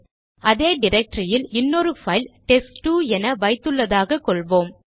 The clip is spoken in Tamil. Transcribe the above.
அதே டிரக்டரியில் இன்னொரு பைல் டெஸ்ட்2 என வைத்துள்ளதாக கொள்வோம்